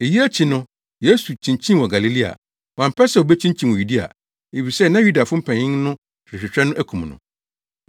Eyi akyi no Yesu kyinkyinii wɔ Galilea. Wampɛ sɛ obekyinkyin wɔ Yudea, efisɛ na Yudafo mpanyin no rehwehwɛ no akum no.